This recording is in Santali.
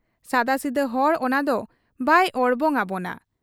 ᱥᱟᱫᱟᱥᱤᱫᱟᱹ ᱦᱚᱲ ᱚᱱᱟᱫᱚ ᱵᱟᱭ ᱚᱲᱵᱚᱝ ᱟᱵᱚᱱᱟ ᱾